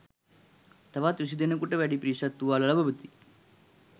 තවත් විසි දෙනෙකුට වැඩි පිරිසක් තුවාල ලබති.